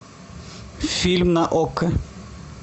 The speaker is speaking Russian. фильм на окко